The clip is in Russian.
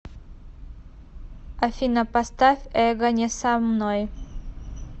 афина поставь эго не со мной